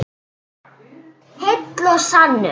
Heill og sannur.